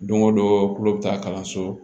Don go don tulo bɛ taa kalanso